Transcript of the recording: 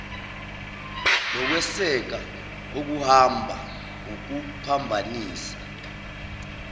lokweseka okuhamba ngokuphambanisa